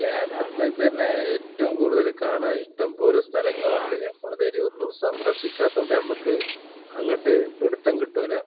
കേരളത്തിലെ ഇതന്നെ ഏറ്റവും കൂടുതൽ കാണാൻ ഇഷ്ടംപോലെ സ്ഥലങ്ങളുണ്ട് നമ്മൾ ഇതുവരെ ഒന്നും സന്ദർശിക്കാത്തൊണ്ട് നമുക്ക് അങ്ങട്ട് പിടുത്തം കിട്ടൂല